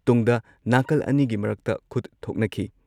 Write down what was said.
ꯇꯨꯡꯗ ꯅꯥꯀꯜ ꯑꯅꯤꯒꯤ ꯃꯔꯛꯇ ꯈꯨꯠ ꯊꯣꯛꯅꯈꯤ